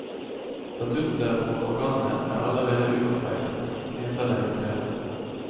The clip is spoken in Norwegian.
Statutter for organet er allerede utarbeidet, heter det i brevet.